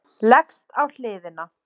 Leggst á hliðina.